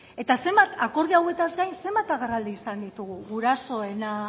eta akordio hauetaz gain zenbat agerraldi izan ditugu gurasoena